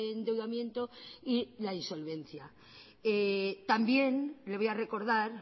endeudamiento y la insolvencia también le voy a recordar